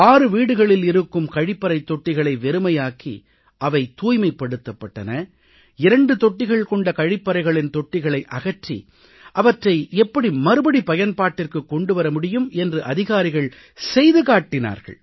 6 வீடுகளில் இருக்கும் கழிப்பறைத் தொட்டிகளை வெறுமையாக்கி அவை தூய்மைப்படுத்தப் பட்டன இரண்டு தொட்டிகள் கொண்ட கழிப்பறைகளின் தொட்டிகளை அகற்றி அவற்றை எப்படி மறுபடி பயன்பாட்டிற்கு கொண்டு வர முடியும் என்று அதிகாரிகள் செய்து காட்டினார்கள்